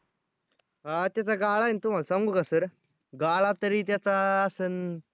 आ त्याचा गाळा आहे तुम्हाला सांगू का sir गाळा तरी त्याचा असन